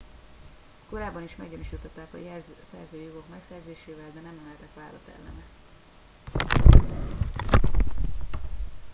korábban is meggyanúsították a szerzői jogok megsértésével de nem emeltek vádat ellene